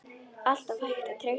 Alltaf hægt að treysta þeim.